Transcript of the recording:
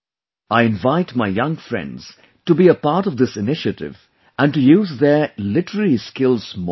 I invite my young friends to be a part of this initiative and to use their literary skills more and more